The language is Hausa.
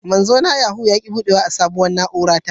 Manzo na Yahoo ya ki budewa a sabuwar na'ura ta